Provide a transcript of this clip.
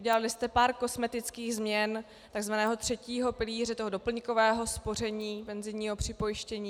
Udělali jste pár kosmetických změn tzv. třetího pilíře, toho doplňkového spoření penzijního připojištění.